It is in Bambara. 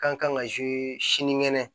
Kan ka sinikɛnɛ